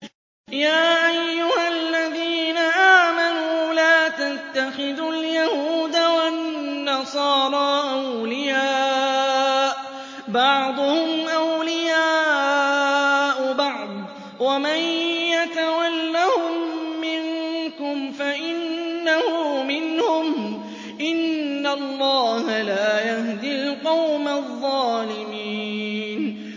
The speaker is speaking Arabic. ۞ يَا أَيُّهَا الَّذِينَ آمَنُوا لَا تَتَّخِذُوا الْيَهُودَ وَالنَّصَارَىٰ أَوْلِيَاءَ ۘ بَعْضُهُمْ أَوْلِيَاءُ بَعْضٍ ۚ وَمَن يَتَوَلَّهُم مِّنكُمْ فَإِنَّهُ مِنْهُمْ ۗ إِنَّ اللَّهَ لَا يَهْدِي الْقَوْمَ الظَّالِمِينَ